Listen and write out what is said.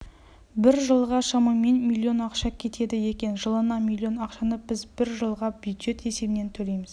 бір жылға шамамен миллион ақша кетеді екен жылына миллион ақшаны біз бір жылға бюджет есебінен төлейміз